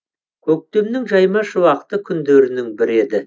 көктемнің жайма шуақты күндерінің бірі еді